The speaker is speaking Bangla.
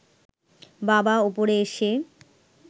বাবা ওপরে এসে